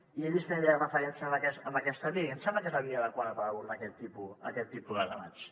i he vist que no fa referència a aquesta via i em sembla que és la via adequada per abordar aquest tipus de debats